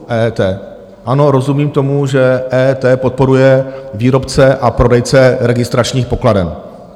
Ano, rozumím tomu, že EET podporuje výrobce a prodejce registračních pokladen.